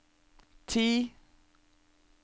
ti